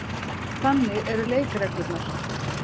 Þannig eru leikreglurnar.